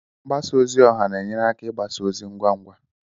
Mgbasa ozi ọha na-enyere aka igbasa ozi ngwa ngwa